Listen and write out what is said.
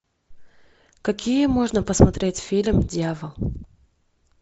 какие можно посмотреть фильм дьявол